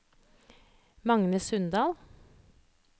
Magne Sundal